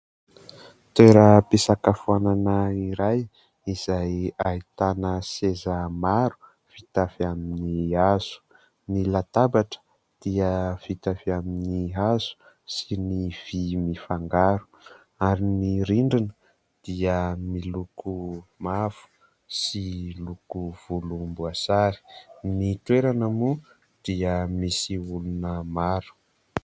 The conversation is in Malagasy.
Toeram-pisakafoanana iray izay ahitana seza maro vita avy amin'ny hazo. Ny latabatra dia vita avy amin'ny hazo sy ny vỳ mifangaro, ary ny rindrina dia miloko mavo sy loko volomboasary. Ny toerana moa dia misy olona maro.